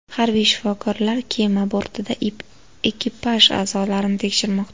Harbiy shifokorlar kema bortida ekipaj a’zolarini tekshirmoqda.